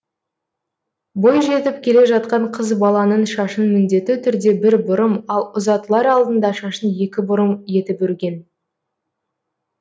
бойжетіп келе жатқан қыз баланың шашын міндетті түрде бір бұрым ал ұзатылар алдында шашын екі бұрым етіп өрген